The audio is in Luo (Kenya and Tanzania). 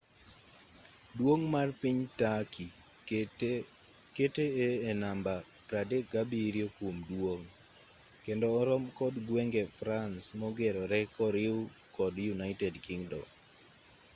duong' mar piny turkey kete e namba 37 kuom duong' kendo orom kod gwenge france mogeroree koriu kod united kingdom